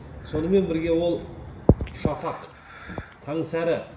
сонымен бірге ол шафақ